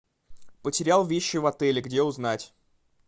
потерял вещи в отеле где узнать